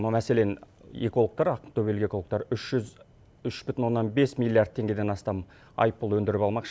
мәселен экологтар ақтөбелік экологтар үш жүз үш бүтін оннан бес миллиард теңгеден астам айыппұл өндіріп алмақшы